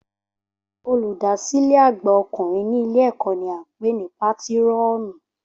Olùdásílẹ̀ àgbà ọkùnrin ní ilé ẹ̀kọ́ ni a ń pè ní pátírọ̀nù